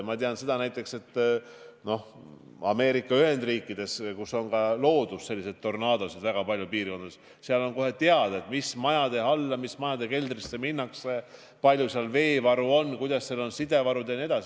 Ma tean seda näiteks, et Ameerika Ühendriikides, kus on väga paljudes piirkondades tornaadosid, on teada, milliste majade keldrisse tuleb minna, kui suur seal veevaru on, kuidas on lood side tagamisega jne.